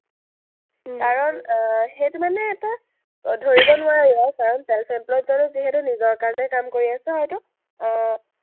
কাৰণ আহ সেইটো মানে এটা ধৰিব নোৱাৰি আৰু কাৰণ self employee জনে যিহেতু নিজৰ কাৰণে কাম কৰি আছে হয়তু, আহ